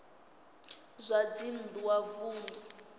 zwa dzinn ḓu wa vunḓu